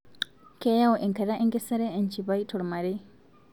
Kayau enkata enkesare enchipai tolmarei